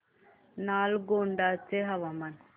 नालगोंडा चे हवामान